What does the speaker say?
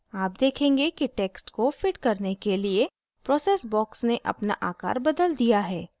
आप देखेंगे कि text को fit करने के लिए process box ने अपना आकार बदल दिया है